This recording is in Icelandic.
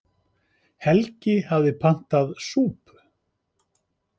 Helgi hafði pantað súpu.